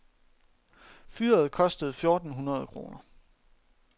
Fyret kostede fjorten hundrede kroner.